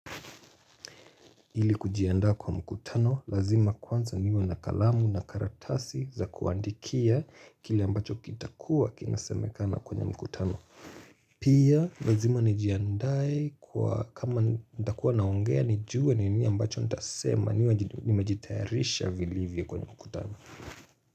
Ili kujiandaa kwa mkutano lazima kwanza niwe na kalamu na karatasi za kuandikia kila ambacho kitakuwa kinasemekana kwenye mkutano. Pia lazima nijiandae kwa kama nitakuwa naongea nijue ni nini ambacho nitasema niwe nimejitayarisha vilivyo kwenye mkutano.